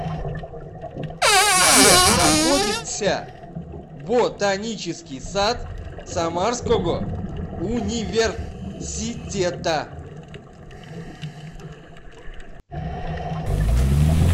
где находится ботанический сад самарского университета